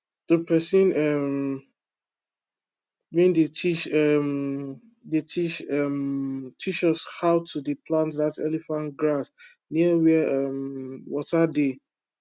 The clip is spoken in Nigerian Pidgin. the pesin um wey dey teach um dey teach um teach us how to dey plant that elephant grass near where um water dey